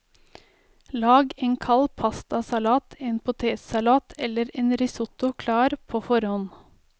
Lag en kald pastasalat, en potetsalat eller en risotto klar på forhånd.